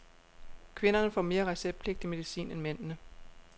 Kvinderne får mere receptpligtig medicin end mændene.